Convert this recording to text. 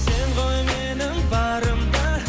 сен ғой менің барым да